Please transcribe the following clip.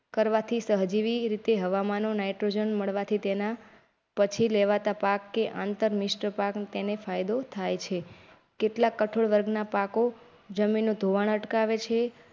કરવા થી સહ જેવી રીતે હવામાં નો નાઇટ્રોજન મળવાથી તેના પછી લેવાતા પાક કે આંતર મિશ્ર પાકને તેને ફાયદો થાય છે. કેટલાક કઠોળ વર્ગના પાકો જમીનનું ધોવાણ અટકાવે છે.